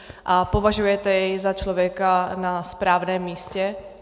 A považujete jej za člověka na správném místě?